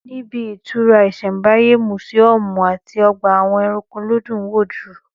Níbi ìtura isembáyé, mùsíọ̀mù àti ọgbà àwọn ẹranko ló dùn wò jù